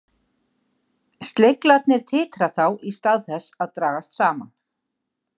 Sleglarnir titra þá í stað þess að dragast saman.